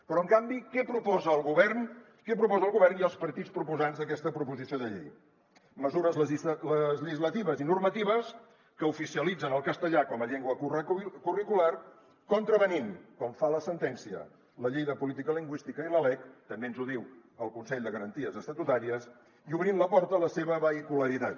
però en canvi què proposen el govern què proposa el govern i els partits proposants d’aquesta proposició de llei mesures legislatives i normatives que oficialitzen el castellà com a llengua curricular contravenint com fa la sentència la llei de política lingüística i la lec també ens ho diu el consell de garanties estatutàries i obrint la porta a la seva vehicularitat